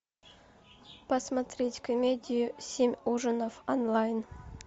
посмотреть комедию семь ужинов онлайн